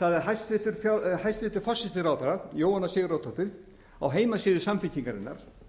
sagði hæstvirtur forsætisráðherra jóhanna sigurðardóttir á heimasíðu samfylkingarinnar